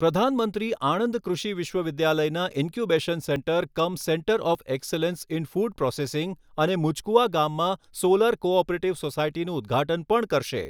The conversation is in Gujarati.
પ્રધાનમંત્રી આણંદ કૃષિ વિશ્વવિદ્યાલયનાં incubation centre cum centre of excellence in food processing અને મુજકુવા ગામમાં સોલર કો ઓપરેટિવ સોસાયટીનું ઉદ્ઘાટન પણ કરશે.